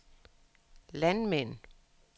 landmænd